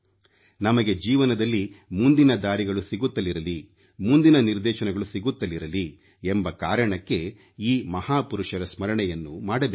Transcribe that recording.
ನಮಗೆ ಜೀವನದಲ್ಲಿ ಮುಂದಿನ ದಾರಿಗಳು ಸಿಗುತ್ತಲಿರಲಿ ಮುಂದಿನ ನಿರ್ದೇಶನಗಳು ಸಿಗುತ್ತಿರಲಿ ಎಂಬ ಕಾರಣಕ್ಕೆ ಈ ಮಹಾಪುರುಷರ ಸ್ಮರಣೆಯನ್ನು ಮಾಡಬೇಕಾಗಿದೆ